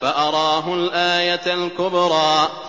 فَأَرَاهُ الْآيَةَ الْكُبْرَىٰ